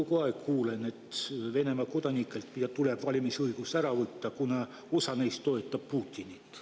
Ma kogu aeg kuulen, et Venemaa kodanikelt tuleb valimisõigus ära võtta, kuna osa neist toetab Putinit.